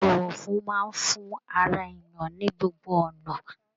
Ibọwọfún máa n fún ará èèyàn ní gbogbo ọnà.